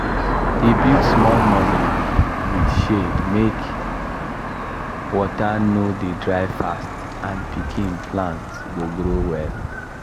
he build small nursery with shade make water no dey dry fast and pikin plant go grow well